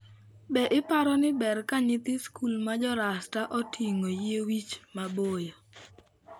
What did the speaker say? Be iparo ni ber ka nyithi skul ma Jo-Rasta oting'o yie wich maboyo?